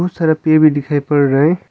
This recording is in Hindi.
बहुत सारा पे भी दिखाई पड़ रहा हैं।